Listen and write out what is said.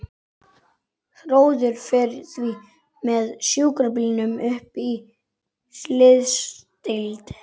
Þórður fer því með sjúkrabílnum upp á slysadeild.